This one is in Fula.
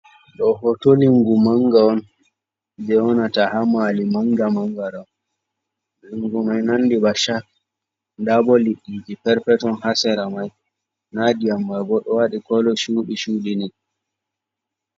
Ɗo hoto lingu manga on jei wonata ha mali manga manga, lingu mai nandi ba shark, nda bo liɗdiji perpeton ha sera mai, nda ndiyam mani bo ɗo waɗi kolo ba shuɗi shuɗi ni.